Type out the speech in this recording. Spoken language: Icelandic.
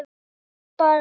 Vildir bara hana.